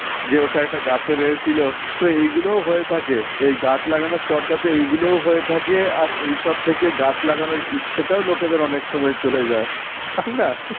যে ওটা একটা গাছের ইয়ে ছিল তো এগুলোও হয়ে থাকে এই গাছ লাগানোর চর্চাতে এগুলোও হয়ে থাকে আর এইসব থেকে গাছ লাগানোর ইচ্ছেটাও লোকেদের অনেক সময় চলে যায় তাই না?